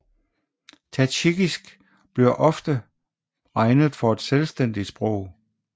Tadsjikisk bliver også ofte regnet for et selvstændigt sprog